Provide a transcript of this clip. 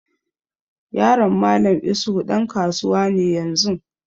Yaron Mallam isuhu ɗan kasuwa ne yanzun.